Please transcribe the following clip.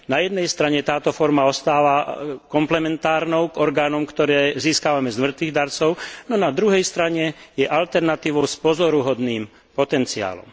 Na jednej strane táto forma ostáva komplementárnou k orgánom, ktoré získavame z mŕtvych darcov, no na druhej strane je alternatívou s pozoruhodným potenciálom.